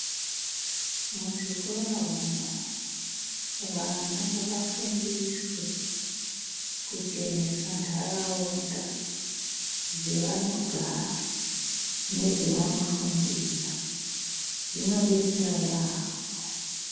Muzvikora umwo vana ngavafundiswe kuchenesa ntaraunda dzevanogara nedzevanofundira. Zvinodetsera yaambo.